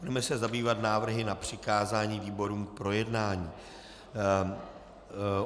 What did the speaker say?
Budeme se zabývat návrhy na přikázání výborům k projednání.